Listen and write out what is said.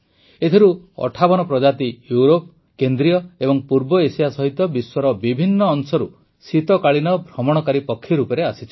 ଏଥିରୁ ୫୮ ପ୍ରଜାତି ୟୁରୋପ କେନ୍ଦ୍ରୀୟ ଏବଂ ପୂର୍ବ ଏସିଆ ସହିତ ବିଶ୍ୱର ବିଭିନ୍ନ ଅଂଶରୁ ଶୀତକାଳୀନ ଭ୍ରମଣକାରୀ ପକ୍ଷୀ ରୂପେ ଆସିଛନ୍ତି